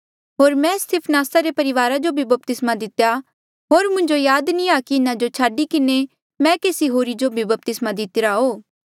होर मैं स्तिफनासा रे परिवारा जो भी बपतिस्मा दितेया होर मुंजो याद नी आ कि इन्हा जो छाडी किन्हें मैं केसी होरी जो भी बपतिस्मा दितिरा हो